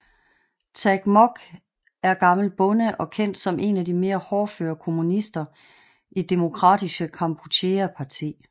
Tag Mok er gammel bonde og kendt som en af de mere hårdføre kommunister i Demokratiska Kampucheas parti